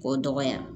K'o dɔgɔya